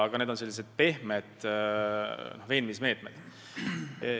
Aga need on sellised pehmed veenmismeetmed.